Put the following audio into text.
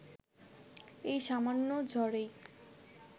এই সামান্য ঝড়েই